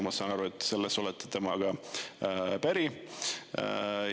Ma saan aru, et selles te olete temaga päri.